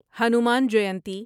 Hanuman Jayanti